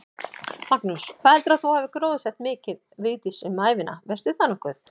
Magnús: Hvað heldurðu að þú hafir gróðursett mikið, Vigdís, um ævina, veistu það nokkuð?